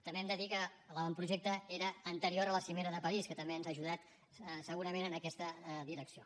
també hem de dir que l’avantprojecte era anterior a la cimera de parís que també ens ha ajudat segurament en aquesta direcció